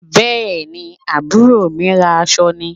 Bẹ́ẹ̀ ni, àbúrò ń rán aṣọ ni